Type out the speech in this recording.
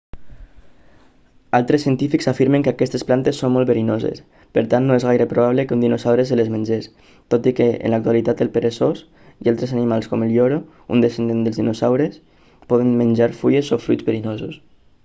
altres científics afirmen que aquestes plantes són molt verinoses per tant no és gaire probable que un dinosaure se les mengés tot i que en l'actualitat el peresós i altres animals com el lloro un descendent dels dinosaures poden menjar fulles o fruits verinosos